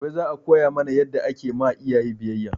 Gobe za a koya mana yadda ake ma iyaye biyayya